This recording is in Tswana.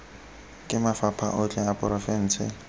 ke mafapha otlhe a porofense